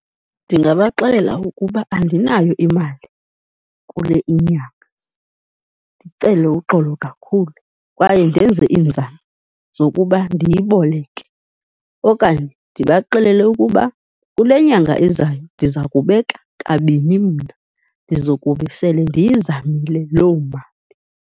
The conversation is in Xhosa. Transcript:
Ndingabaxelela ukuba andinayo imali kule inyanga, ndicele uxolo kakhulu kwaye ndenze iinzame zokuba ndiyiboleke. Okanye ndibaxelele ukuba kule nyanga izayo, ndiza kubeka kabini mna, ndizokube sele ndiyizamile loo mali.